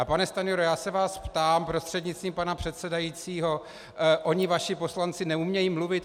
A pane Stanjuro, já se vás ptám prostřednictvím pana předsedajícího: Oni vaši poslanci neumějí mluvit?